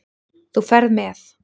Þú ferð með